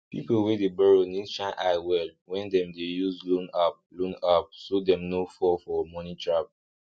people wey dey borrow need shine eye well when dem dey use loan app loan app so dem no fall for moni trap